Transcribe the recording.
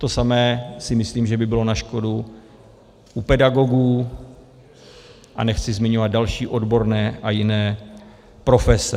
To samé si myslím, že by bylo na škodu u pedagogů, a nechci zmiňovat další odborné a jiné profese.